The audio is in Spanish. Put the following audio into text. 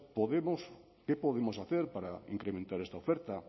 qué podemos hacer para incrementar esta oferta